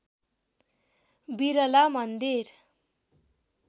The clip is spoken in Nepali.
बिरला मन्दिर